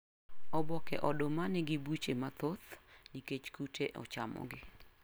Oboke oduma nigibuche mathoth nikech kute ochamogi